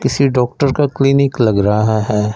किसी डॉक्टर का क्लीनिक लग रहा है।